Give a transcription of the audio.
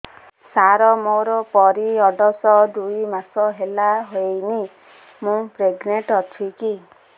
ସାର ମୋର ପିରୀଅଡ଼ସ ଦୁଇ ମାସ ହେଲା ହେଇନି ମୁ ପ୍ରେଗନାଂଟ ଅଛି କି